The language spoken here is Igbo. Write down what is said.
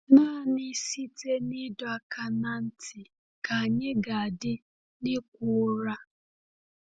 Naanị site n’ịdọ aka ná ntị ka anyị ga-adị n’ịkwa ụra.